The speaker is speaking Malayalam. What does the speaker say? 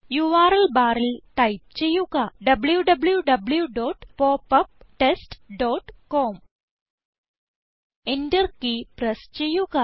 യുആർഎൽ ബാറിൽ ടൈപ്പ് ചെയ്യുക w w w dot pop up test dot com enter key press ചെയ്യുക